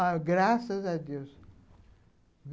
Ah, graças a Deus.